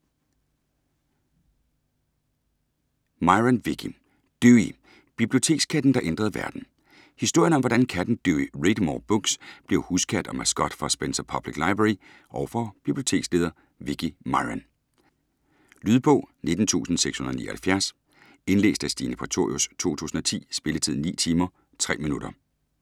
Myron, Vicki: Dewey: bibliotekskatten, der ændrede verden Historien om hvordan katten Dewey Readmore Books bliver huskat og maskot for Spencer Public Library og for biblioteksleder Vicki Myron. Lydbog 19679 Indlæst af Stine Prætorius, 2010. Spilletid: 9 timer, 3 minutter.